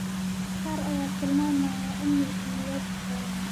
qaar ayaa tilmaamaya in mulkiilayaasha Xoolaha.